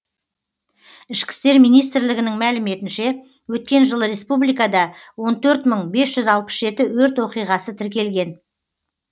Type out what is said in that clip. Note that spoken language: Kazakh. ішкі істер министрлігінің мәліметінше өткен жылы республикада он төрт мың бес жүз алпыс жеті өрт оқиғасы тіркелген